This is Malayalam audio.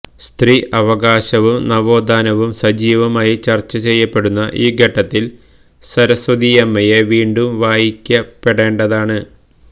സ്ത്രീ അവകാശവും നവോത്ഥാനവും സജീവമായി ചര്ച്ചചെയ്യപ്പെടുന്ന ഈ ഘട്ടത്തില് സരസ്വതിയമ്മയെ വീണ്ടും വായിക്കപ്പെടേണ്ടതാണ്